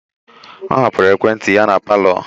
Ọ hapụrụ ekwentị ya na palọ.